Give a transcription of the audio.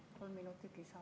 Palun kolm minutit lisaaega.